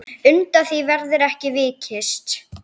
Undan því verður ekki vikist.